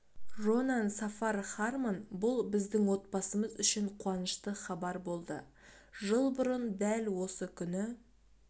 ронан сафар хармон бұл біздің отбасымыз үшін қуанышты хабар болды жыл бұрын дәл осы күні